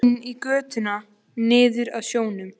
Kemur inn í götuna niður að sjónum.